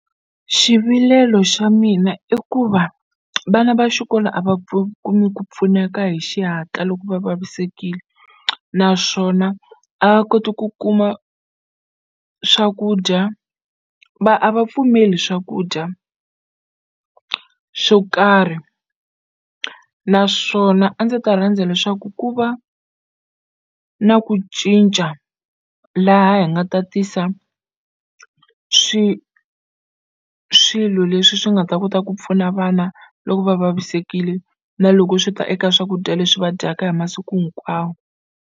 Xivilelo xa mina i ku va vana va xikolo a va kumi ku pfuneka hi xihatla loko va vavisekile naswona a va koti ku kuma swakudya va a va pfumeli swakudya xo karhi naswona a ndzi ta rhandza leswaku ku va na ku cinca laha hi nga ta tisa swi swilo leswi swi nga ta kota ku pfuna vana loko va vavisekile na loko swi ta eka swakudya leswi va dyaka hi masiku hinkwawo.